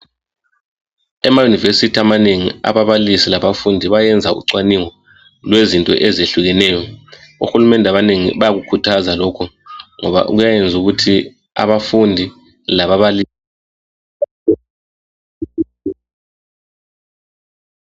Emayunivesithi amanengi ababalisi labafundi bayenza ucwaningo lwezinto ezihlukeneyo. Ohulumende abanengi bayakukhuthaza lokho ngoba kuyayenza ukuthi abafundi lababalisi ...